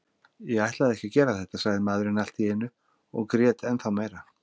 Ég ætlaði ekki að gera þetta, sagði maðurinn allt í einu og grét ennþá meira.